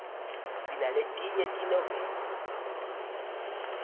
sinaletinye tenoveli